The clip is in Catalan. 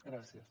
gràcies